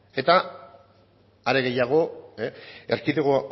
eta are gehiago erkidego